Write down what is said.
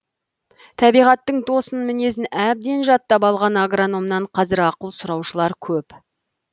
табиғаттың тосын мінезін әбден жаттап алған агрономнан қазір ақыл сұраушылар көп